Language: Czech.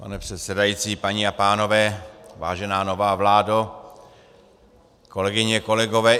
Pane předsedající, paní a pánové, vážená nová vládo, kolegyně, kolegové.